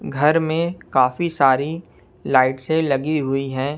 घर में काफी सारी लाइट से लगी हुई है।